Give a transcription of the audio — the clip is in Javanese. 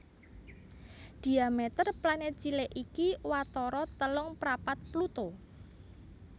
Dhiameter planèt cilik iki watara telung prapat Pluto